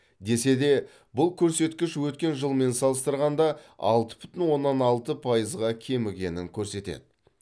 десе де бұл көрсеткіш өткен жылмен салыстырғанда алты бүтін оннан алты пайызға кемігенін көрсетеді